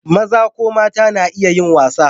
Maza ko mata na iya yin wasa.